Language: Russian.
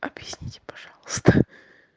объясните пожалуйста